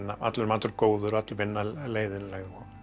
allur matur góður öll vinna leiðinleg